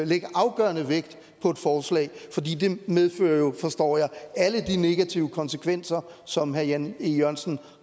lægge afgørende vægt på et forslag fordi det jo medfører forstår jeg alle de negative konsekvenser som herre jan e jørgensen